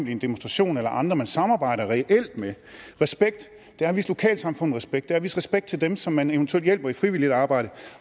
i en demonstration eller andre man samarbejder reelt med respekt er at vise lokalsamfundet respekt at vise respekt til dem som man eventuelt hjælper i frivilligt arbejde